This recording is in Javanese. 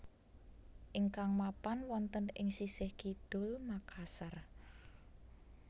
ingkang mapan wonten ing sisih kidul Makassar